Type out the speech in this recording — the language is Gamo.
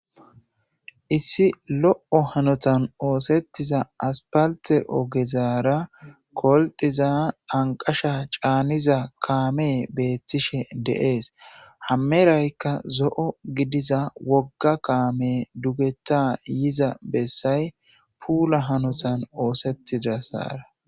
Issi lo'o hanotan oosetiza asipalite ogezara koliqiza anikasha chaniza kaame beatishe deasi ha merayika zoo gidiza woga kaame duugeta yiiza beasay puula hanotani oosetizaga.